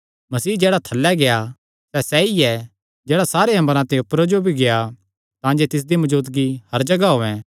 मसीह जेह्ड़ा थल्लैं गेआ सैह़ सैई ऐ जेह्ड़ा सारे अम्बरां ते ऊपरे जो भी गेआ तांजे तिसदी मौजूदगी हर जगाह होयैं